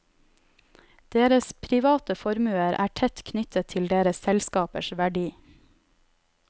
Deres private formuer er tett knyttet til deres selskapers verdi.